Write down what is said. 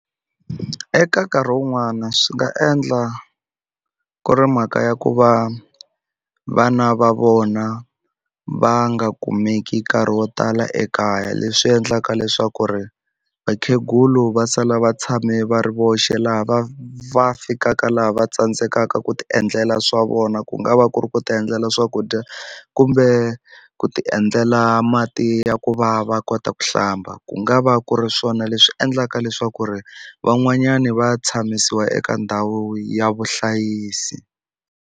Eka nkarhi wun'wana swi nga endla ku ri mhaka ya ku va vana va vona va nga kumeki nkarhi wo tala ekaya leswi endlaka leswaku ri vakhegulu va sala va tshame va ri voxe laha va fikaka laha va tsandzekaka ku ti endlela swa vona ku nga va ku ri ku ti endlela swakudya kumbe ku ti endlela mati ya ku va va kota ku hlamba ku nga va ku ri swona leswi endlaka leswaku ri van'wanyani va tshamisiwa eka ndhawu ya vuhlayisi.